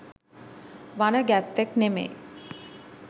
වන ගැත්තෙක් නෙමෙයි.